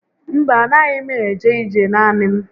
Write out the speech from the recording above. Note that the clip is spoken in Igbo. Mba, a na6ghi m eje ije naanị m